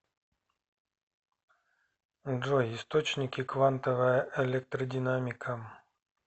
джой источники квантовая электродинамика